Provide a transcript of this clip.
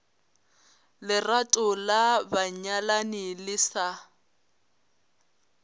lerato la banyalani le sa